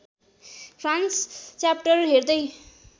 France chapter हेर्दै